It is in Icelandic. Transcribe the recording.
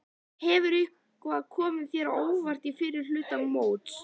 Hefur eitthvað komið þér á óvart í fyrri hluta móts?